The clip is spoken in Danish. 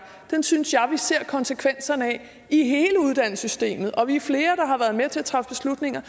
synes jeg vi ser konsekvenserne af i hele uddannelsessystemet og vi er flere der har været med til at træffe beslutninger